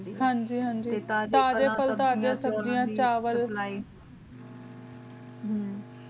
ਹਨ ਜੀ